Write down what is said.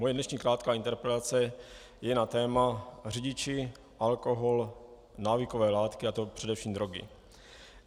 Moje dnešní krátká interpelace je na téma řidiči, alkohol, návykové látky, a to především drogy.